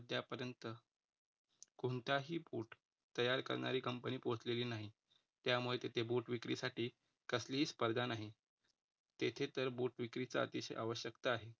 कोणताही boot तयार करणारी कंपनी पोचलेली नाही. त्यामुळे तिथे boot विक्रीसाठी कसली स्पर्धा नाही. तेथे तर boot विक्रीचा अतिशय आवश्यकता आहे